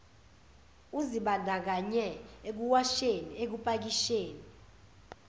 uzibandakanye ekuwasheni ekupakisheni